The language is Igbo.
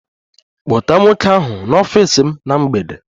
Kpọta nwoke ahụ n'ọfịs m na mgbede!